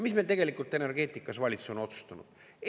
Mis meil tegelikult energeetikas valitsus on otsustanud?